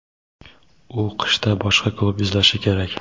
u qishda boshqa klub izlashi kerak.